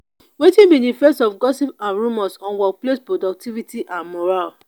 wetin be di effects of gossip and rumors on workplace productivity and morale?